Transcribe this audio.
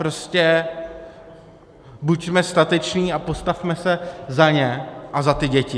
Prostě buďme stateční a postavme se za ně a za ty děti.